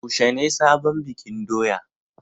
Yaushe ne sabon bikin doya?